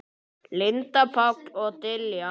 Linda, Páll og Diljá.